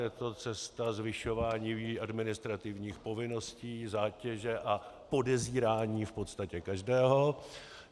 Je to cesta zvyšování administrativních povinností, zátěže a podezírání v podstatě každého.